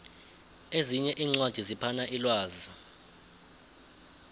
ezinye iincwadi ziphana umlwazi